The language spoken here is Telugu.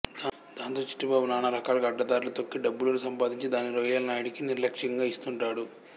దాంతో చిట్టిబాబు నానా రకాలుగా అడ్డదార్లు తొక్కి డబ్బులు సంపాదించి దాన్ని రొయ్యలనాయుడికి నిర్లక్ష్యంగా ఇస్తుంటాడు